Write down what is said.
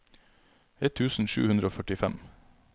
ett tusen sju hundre og førtifem